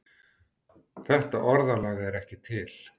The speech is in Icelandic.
Þetta orðalag er ekki til.